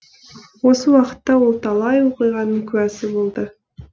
осы уақытта ол талай оқиғаның куәсі болды